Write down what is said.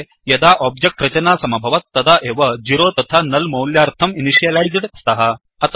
ते यदा ओब्जेक्ट् रचना समभवत् तदा एव 0तथा नुल् मौल्यार्थं इनिशियलैज्ड् स्तः